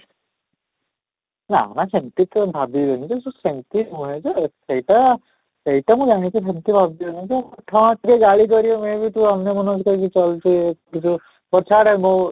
ନା ନା ସେମିତି ତ ଭାବିବେନି କିନ୍ତୁ ସେମିତି ନୁହେଁ ଯେ ସେଇଟା ସେଇଟା ମୁଁ ଜାଣିଛି ସେମିତି ଭାବିବେନି ଯେ ହଁ ଟିକେ ଗାଳି କରିବେ may be ତୁ ଅନ୍ୟ ମନସ୍କ ହେଇକି ଚାଲୁଛୁ ଟିକେ ପଛା ଆଡେ ମୁଁ